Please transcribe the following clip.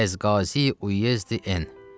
Əz qazi üyezdi N.